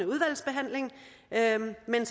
ind